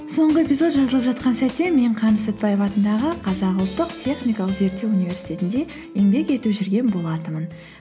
соңғы эпизод жазылып жатқан сәтте мен қаныш сәтпаев атындағы қазақ ұлттық техникалық зерттеу университетінде еңбек етіп жүрген болатынмын